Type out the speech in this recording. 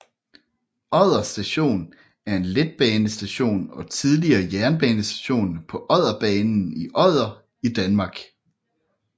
Odder Station er en letbanestation og tidligere jernbanestation på Odderbanen i Odder i Danmark